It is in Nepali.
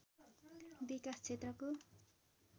विकास क्षेत्रको